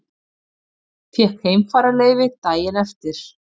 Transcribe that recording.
Fékk heimfararleyfi daginn eftir.